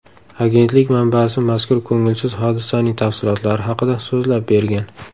Agentlik manbasi mazkur ko‘ngilsiz hodisaning tafsilotlari haqida so‘zlab bergan.